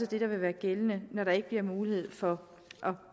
det der vil være gældende når der ikke bliver mulighed for